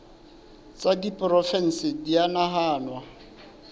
tsa diporofensi di a nahanwa